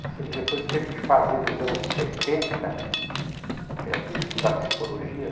Eu sei que depois teve que fazer, nos anos setenta, que ela queria estudar psicologia.